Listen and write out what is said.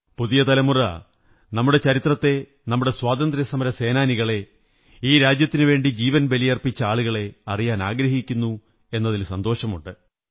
പുതിയ തലമുറ നമ്മുടെ ചരിത്രത്തെ നമ്മുടെ സ്വാതന്ത്ര്യ സമരസേനാനികളെ ഈ രാജ്യത്തിനുവേണ്ടി ജീവൻ ബലിയര്പ്പി്ച്ച ആളുകളെ അറിയാനാഗ്രഹിക്കുന്നു എന്നതിൽ സന്തോഷമുണ്ട്